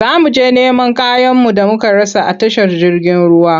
Za mu je neman kayanmu da muka rasa a tashar jirgin ruwa.